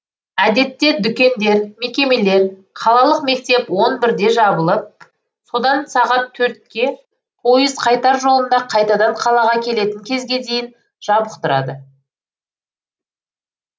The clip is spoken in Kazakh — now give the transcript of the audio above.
әдетте дүкендер мекемелер қалалық мектеп он бірде жабылып содан сағат төртке пойыз қайтар жолында қайтадан қалаға келетін кезге дейін жабық тұрады